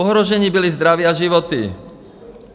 Ohrožené bylo zdraví a životy.